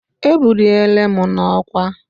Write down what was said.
Ebuliri m n'ọkwá